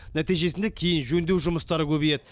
нәтижесінде кейін жөндеу жұмыстары көбейеді